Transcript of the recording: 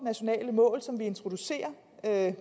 nationale mål som vi introducerer